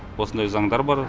осындай заңдар бар